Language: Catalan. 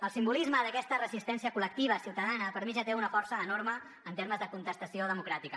el simbolisme d’aquesta resistència col·lectiva ciutadana per mi ja té una força enorme en termes de contestació democràtica